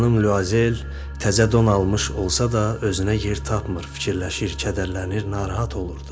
Xanım Luazel təzə don almış olsa da, özünə yer tapmır, fikirləşir, kədərlənir.